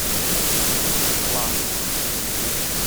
пласт